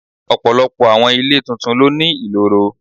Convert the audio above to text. Ọ̀pọ̀lọpọ̀ àwọn ilé tuntun ló ní ìloro.